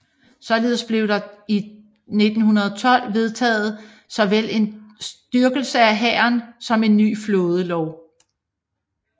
Således blev der i 1912 vedtaget såvel en styrkelse af hæren som en ny flådelov